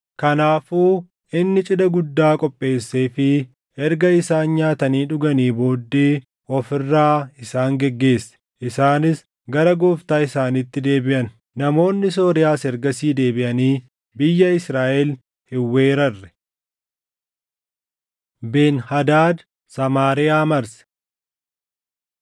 Kanaafuu inni cidha guddaa qopheesseefii erga isaan nyaatanii dhuganii booddee of irraa isaan geggeesse; isaanis gara gooftaa isaaniitti deebiʼan. Namoonni Sooriyaas ergasii deebiʼanii biyya Israaʼel hin weerarre. Ben-Hadaad Samaariyaa Marse